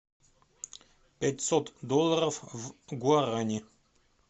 пятьсот долларов в гуарани